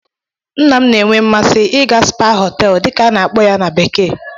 Nna m na-enwe mmasị ịga "Spa hotels" dị ka a na-esi akpọ ya na bekee